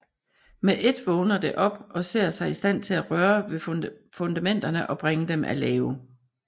Med ét vågner det op og ser sig i stand til at røre ved fundamenterne og bringe dem af lave